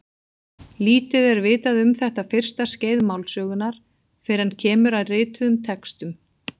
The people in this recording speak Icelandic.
Lítið er vitað um þetta fyrsta skeið málsögunnar fyrr en kemur að rituðum textum.